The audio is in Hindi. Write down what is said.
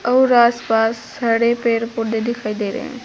और आस पास सारे पेड़ पौधे दिखाई दे रहे हैं।